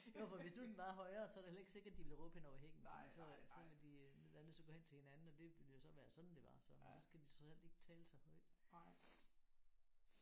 Jo for hvis nu den var højere så er det heller ikke sikkert de ville råbe hen over hækken fordi så øh så havde de øh været nødt til at gå hen til hinanden og det ville jo så være sådan det var så men så skal de trods alt ikke tale så højt